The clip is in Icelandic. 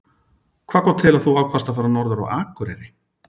Hvað kom til að þú ákvaðst að að fara norður á Akureyri?